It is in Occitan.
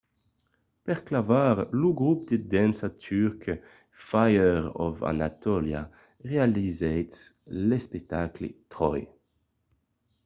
per clavar lo grop de dança turc fire of anatolia realizèt l’espectacle troy